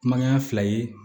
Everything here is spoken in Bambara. Kumaya fila ye